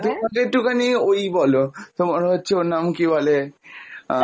তুমি আমাকে একটু খানি ওই বলো, তোমার হচ্ছে ওর নাম কি বলে আহ